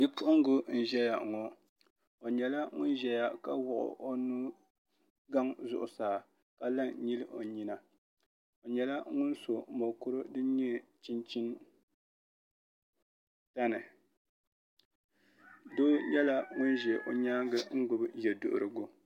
Bipuɣungi n ʒɛya ŋo n nyɛla ŋun ʒɛya ka wuɣu o nugaŋ zuɣusaa ka la n nyili o nyina i nyɛla ŋun so mokuru din nyɛ chinchin dini doo nyɛla ŋun ʒɛ o nyaangi gbubi yɛ duɣurigu